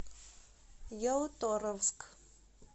ялуторовск